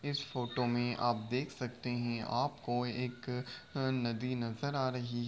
इस फोटो मे आप देख सकते हैं आपको एक अ नदी नजर आ रही --